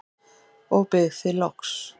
og bið þig loks